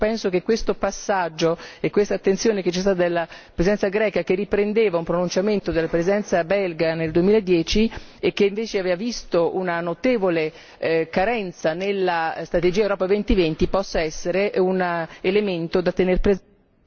Penso che questo passaggio e questa attenzione prestata dalla Presidenza greca, che riprendeva un pronunciamento della Presidenza belga nel 2010 che invece aveva visto una notevole carenza nella strategia Europa 2020 possa essere un elemento da tenere presente.